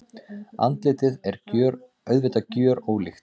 Andlitið er auðvitað gjörólíkt.